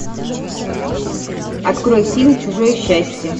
открой фильм чужое счастье